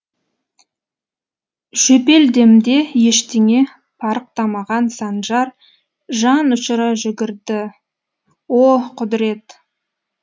жөпелдемде ештеңе парықтамаған санжар жанұшыра жүгірді о құдірет